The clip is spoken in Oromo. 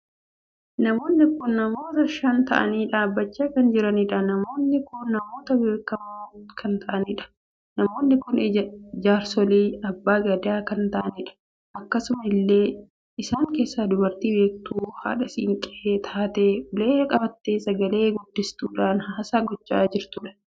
Namoonni kun namoota shan taa'anii dhaabbachaa kan jiranidha. namoonni kun namoota beekamoo kan taa'anidha. namoonni kun jaarsolii abbaa gadaa kan taa'anidha. akkasuma illee isaan keessa dubartii beektuu haadha siinqee taatee ulee qabattee sagalee guddistuudha haasaa gochaa kan jirtuudha.